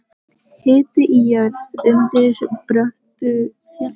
Hiti í jörð undir bröttu fjalli